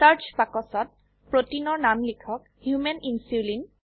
search বাক্সত প্ৰোটিনৰ নাম লিখক হোমান ইনচুলিন